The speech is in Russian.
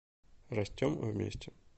растем вместе